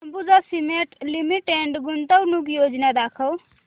Ambuja cement limited गुंतवणूक योजना दाखव